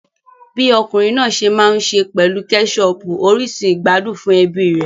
Bi ọkùnrin náà se n maa n se pelu keshopu orísun ìgbádùn fún ẹbí rẹ̀.